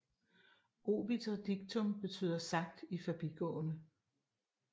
Obiter dictum betyder sagt i forbigående